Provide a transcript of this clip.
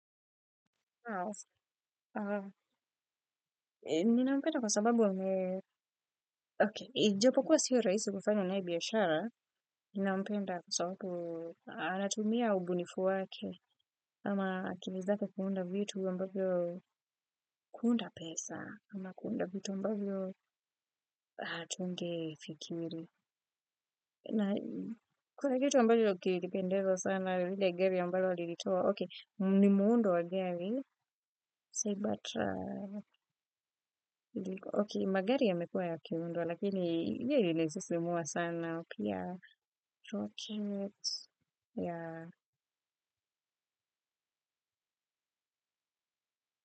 Ninampenda kwa sababu ame okay ijopokuwa siyo rahisi kufanya naye biashara ninampenda kwa sababu anatumia ubunifu wake ama akili zake kuunda vitu ambavyo kuunda pesa ama kuunda vitu ambavyo hatungefikiri na kuna kitu ambavyo kilinipendeza sana ile gari ambayo alilitoa okay ni muundo wa gari say but ok magari yamekuwa yakiundwa lakini ya ile ilisisimua sana pia rocket yea.